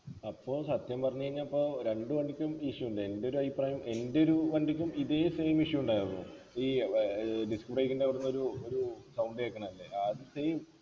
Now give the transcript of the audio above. അപ്പൊ സത്യം പറഞ്ഞ് കഴിഞ്ഞ ഇപ്പൊ രണ്ട് വണ്ടിക്കും issue ഉണ്ട് എൻ്റെ ഒരഭിപ്രായം എൻ്റെ ഒരു വണ്ടിക്കും ഇതേ same issue ഉണ്ടായിരുന്നു ഈ ഏർ disc break ൻ്റെ അവിടെന്നൊരു ഒരു sound കേക്കണതല്ലേ അത് same